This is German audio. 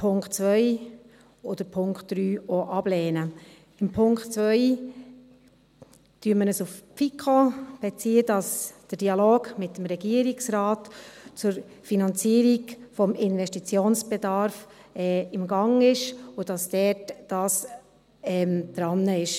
Beim Punkt 2 beziehen wir uns auf die FiKo, dass der Dialog mit dem Regierungsrat zur Finanzierung des Investitionsbedarfs im Gang ist und dass man dort dran ist.